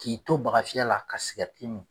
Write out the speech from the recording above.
K'i to bagafiyɛ la ka sikɛriti min.